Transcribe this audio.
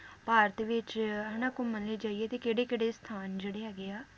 ਭਾਰਤ ਵਿਚ ਹਨਾ ਘੁੰਮਣ ਲਈ ਜਾਈਏ ਤੇ ਕਿਹੜੇ-ਕਿਹੜੇ ਸਥਾਨ ਜਿਹੜੇ ਹੈਗੇ ਆ ਉਹ